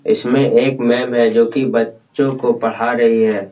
''इसमें एक मैम है जो की बच्चों को पढ़ा रही है।''